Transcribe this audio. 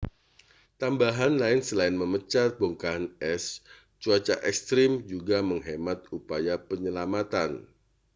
tambahan lain selain memecah bongkahan es cuaca ekstrem juga menghambat upaya penyelamatan